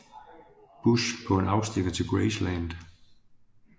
Bush på en afstikker til Graceland